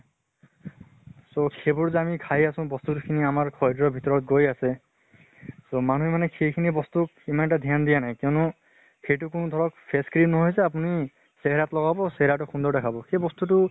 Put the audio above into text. so সেইবোৰ যে আমি খাই আছো, বস্তু খিনি আমাৰ শৰিৰৰ ভিতৰত গৈ আছে। so মান্হে মানে সেই খিনি বস্তুক ইমান এটা ধ্য়ান দিয়া নাই। কিয়্নো সেইটো কোনো ধৰক face cream নহয় চে আপুনি চেহেৰাত লগাব, চেহাৰাতো সুন্দৰ দেখাব। সেই বস্তু টো